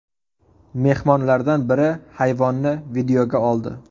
Mehmonlardan biri hayvonni videoga oldi.